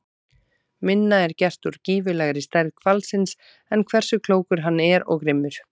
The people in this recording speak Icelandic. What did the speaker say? Minna er gert úr gífurlegri stærð hvalsins en hversu klókur hann er og grimmur.